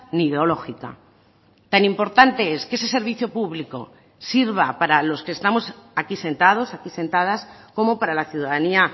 ni ideológica tan importante es que ese servicio público sirva para los que estamos aquí sentados aquí sentadas como para la ciudadanía